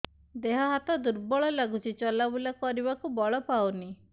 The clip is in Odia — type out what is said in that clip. ଦେହ ହାତ ଦୁର୍ବଳ ଲାଗୁଛି ଚଲାବୁଲା କରିବାକୁ ବଳ ପାଉନି